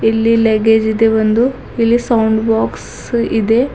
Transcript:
ಇಲ್ಲಿ ಲಗ್ಗೇಜ್ ಇದೆ ಒಂದು ಇಲ್ಲಿ ಸೌಂಡ್ ಬಾಕ್ಸ್ ಇದೆ.